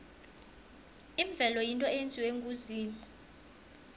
imvelo yinto eyenziwe nguzimu